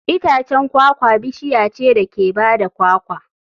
Itacen kwakwa bishiya ce da ke ba da kwakwa.